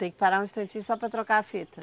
Tem que parar um instantinho só para trocar a fita.